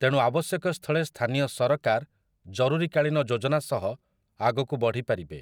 ତେଣୁ ଆବଶ୍ୟକ ସ୍ଥଳେ ସ୍ଥାନୀୟ ସରକାର ଜରୁରୀକାଳୀନ ଯୋଜନା ସହ ଆଗକୁ ବଢ଼ିପାରିବେ ।